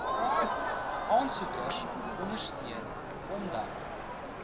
aansoekers ondersteun omdat